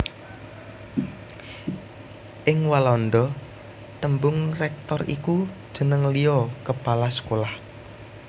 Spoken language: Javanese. Ing Walanda tembung rector iku jeneng liya kepala sekolah